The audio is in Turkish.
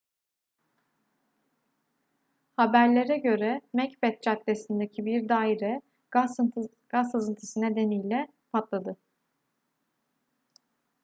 haberlere göre macbeth caddesi'ndeki bir daire gaz sızıntısı nedeniyle patladı